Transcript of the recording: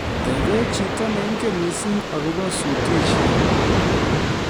Tebe chito neingen missing akobo sutishet